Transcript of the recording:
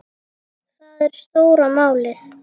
Það er stóra málið.